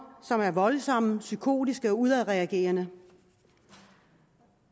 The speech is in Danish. som er voldsomme psykotiske og udadreagerende